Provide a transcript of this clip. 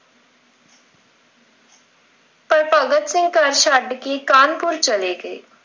ਪਰ ਭਗਤ ਸਿੰਘ ਘਰ ਛੱਡ ਕਿ ਕਾਹਨਪੁਰ ਚਲੇ ਗਏ।